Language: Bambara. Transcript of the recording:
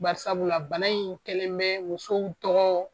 Bari sabula bana in kɛlen bɛ musow tɔgɔ